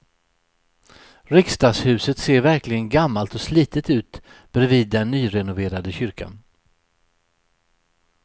Riksdagshuset ser verkligen gammalt och slitet ut bredvid den nyrenoverade kyrkan.